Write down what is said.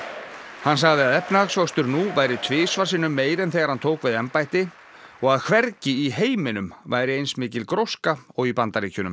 hann sagði að efnahagsvöxtur nú væri tvisvar sinnum meiri en þegar hann tók við embætti og að hvergi í heiminum væri eins mikil gróska og í Bandaríkjunum